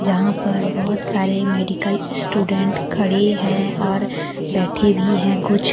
यहां पर बहुत सारे मेडिकल स्टूडेंट खड़े हैं और बैठे भी है कुछ।